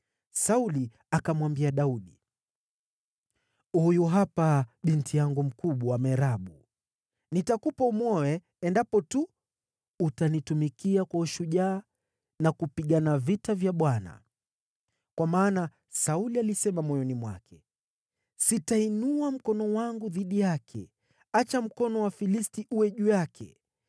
Sauli akamwambia Daudi, “Huyu hapa binti yangu mkubwa Merabu. Nitakupa umwoe, endapo tu utanitumikia kwa ushujaa na kupigana vita vya Bwana .” Kwa maana Sauli alisema moyoni mwake, “Sitainua mkono wangu dhidi yake. Acha mkono wa Wafilisti uwe juu yake.”